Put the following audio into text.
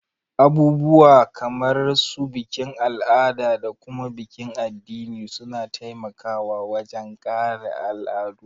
Abubuwa kamar su bikin al'ada da kuma bikin addini suna taimaka wajen kare al'adu